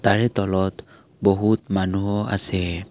তাৰে তলত বহুত মানুহ আছে।